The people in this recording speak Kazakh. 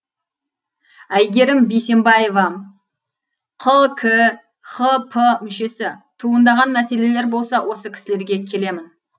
әйгерім бейсембаева қкхп мүшесі туындаған мәселелер болса осы кісілерге келемін